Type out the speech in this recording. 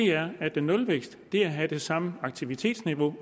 er at nulvækst er at have det samme aktivitetsniveau